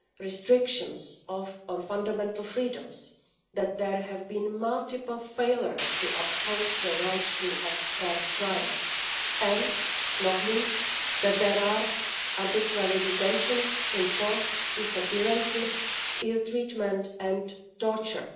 restrictions of fundamental freedoms, that there have been multiple failures to uphold the right to a fair trial and, not least, that there are arbitrary detentions, enforced disappearances, ill treatment and torture.